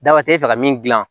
Daba tɛ e fɛ ka min dilan